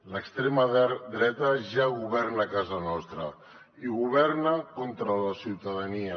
l’extrema dreta ja governa a casa nostra i governa contra la ciutadania